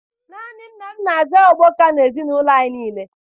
Naanị nna m na-aza okpoka na ezinụlọ anyị nile